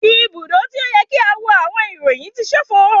Ibudo ti o yẹ ki a wo awọn iroyin ti ṣofo